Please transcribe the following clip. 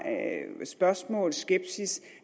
spørgsmål og skepsis